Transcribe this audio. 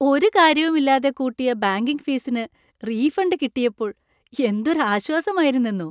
ഒരു കാര്യവും ഇല്ലാതെ കൂട്ടിയ ബാങ്കിങ് ഫീസിന് റീഫണ്ട് കിട്ടിയപ്പോൾ എന്തൊരു ആശ്വാസമായിരുന്നെന്നോ!